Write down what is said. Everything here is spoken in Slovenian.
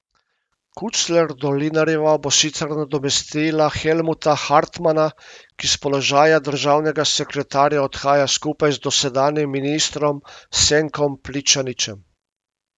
Kucler Dolinarjeva bo sicer nadomestila Helmuta Hartmana, ki s položaja državnega sekretarja odhaja skupaj z dosedanjim ministrom Senkom Pličaničem.